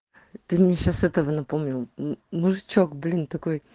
ты мне сейчас этого напомнил мужичок блин такой